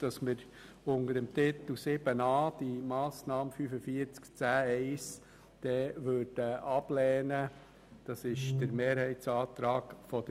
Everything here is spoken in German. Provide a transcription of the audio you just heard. Gemäss Mehrheitsantrag der FiKo würden wir die Massnahme 45.10.1 unter dem Titel 7.a ablehnen.